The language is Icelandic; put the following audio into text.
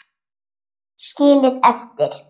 Skilið eftir?